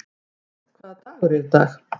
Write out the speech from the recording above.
Móði, hvaða dagur er í dag?